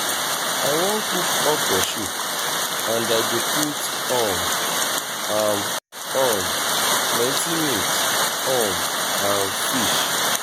i wan cook okra soup and i go put um am um plenty meat um and fish